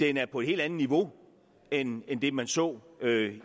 er på et helt andet niveau end det man så